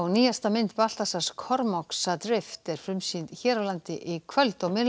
nýjasta mynd Baltasars Kormáks er frumsýnd hér á landi í kvöld